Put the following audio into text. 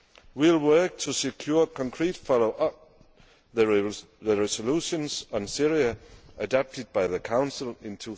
We will work to secure concrete follow up to the resolutions on Syria adapted by the Council in